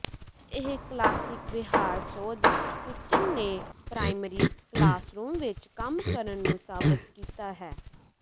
ਇਹ ਕਲਾਸਿਕ ਵਿਹਾਰ ਸੋਧ ਸਿਸਟਮ ਨੇ ਪ੍ਰਾਇਮਰੀ ਕਲਾਸਰੂਮ ਵਿੱਚ ਕੰਮ ਕਰਨ ਨੂੰ ਸਾਬਤ ਕੀਤਾ ਹੈ